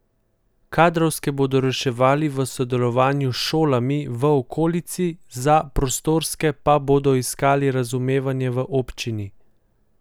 Kadrovske bodo reševali v sodelovanju s šolami v okolici, za prostorske pa bodo iskali razumevanje v občini.